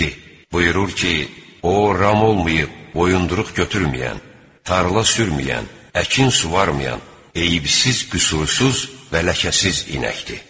Dedi: "Buyurur ki, o ram olmayıb boyunduruq götürməyən, tarla sürməyən, əkin suvarmayan, eyibsiz, qüsursuz və ləkəsiz inəkdir."